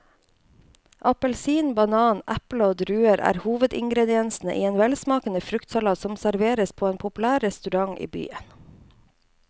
Appelsin, banan, eple og druer er hovedingredienser i en velsmakende fruktsalat som serveres på en populær restaurant i byen.